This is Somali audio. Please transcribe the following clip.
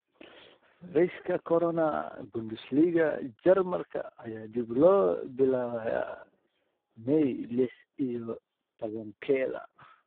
Fayraska Corona: Bundesliga Jarmalka ayaa dib loo bilaabayaa May lix iyo tobankeda.